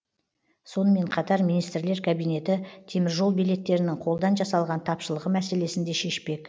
сонымен қатар министрлер кабинеті теміржол билеттерінің қолдан жасалған тапшылығы мәселесін де шешпек